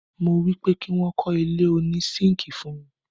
mo wípé kí wọ́n kọ́ ilé òní sínkíì fún mi.